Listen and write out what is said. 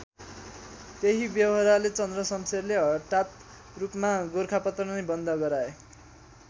त्यही बेहोराले चन्द्रशमशेरले हटात रूपमा गोरखापत्र नै बन्द गराए।